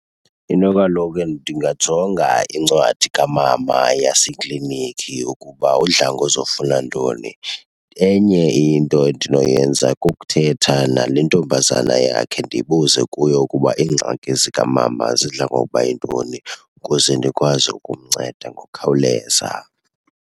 Into kaloku , ndingajonga incwadi kamama yasekliniki ukuba udla ngozofuna ntoni. Enye into endinoyenza kukuthetha nale ntombazana yakhe ndibuze kuyo ukuba iingxaki zikamama zidla ngokuba yintoni ukuze ndikwazi ukumnceda ngokukhawuleza.